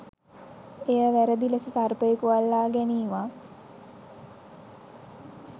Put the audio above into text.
එය වැරදි ලෙස සර්පයකු අල්ලා ගැනීමක්